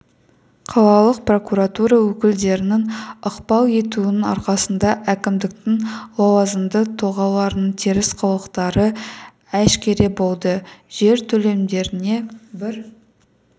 қалалық прокуратура өкілдерінің ықпал етуінің арқасында әкімдіктің лауазымды тұлғаларының теріс қылықтары әшкере болды жер телімдеріне бір